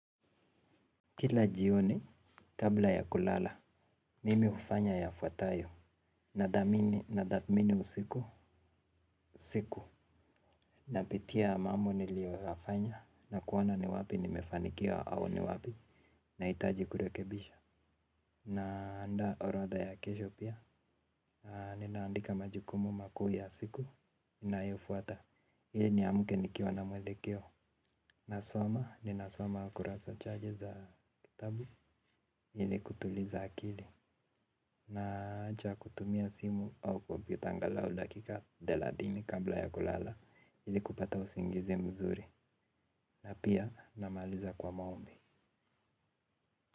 Kila jioni, kabla ya kulala, mimi hufanya yafuatayo, nathamini, nathamini usiku, siku. Napitia mambo niliyoyafanya na kuona ni wapi nimefanikiwa au ni wapi nahitaji kurekebisha naandaa orodha ya kesho pia ninaandika majukumu makuu ya siku ninayofuata ili niamke nikiwa na mwelekeo. Nasoma, ninasoma kurasa chache za kitabu ili kutuliza akili. Naacha kutumia simu au kompyuta angalau dakika thelathini kabla ya kulala ili kupata usingizi mzuri na pia namaliza kwa maombi.